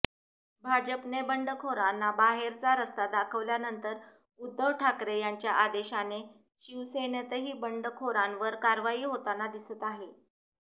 भाजपने बंडखोरांना बाहेरचा रस्ता दाखवल्यानंतर उद्धव ठाकरे यांच्या आदेशाने शिवसेनेतही बंडखोरांवर कारवाई होताना दिसत आहे